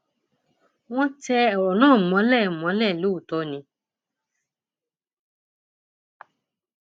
wọn tẹ ọrọ náà mọlẹ mọlẹ lóòótọ ni